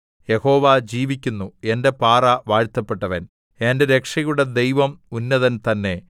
യഹോവ ജീവിക്കുന്നു എന്റെ പാറ വാഴ്ത്തപ്പെട്ടവൻ എന്റെ രക്ഷയുടെ ദൈവം ഉന്നതൻ തന്നെ